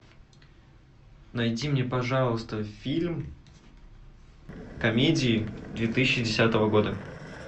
найди мне пожалуйста фильм комедии две тысячи десятого года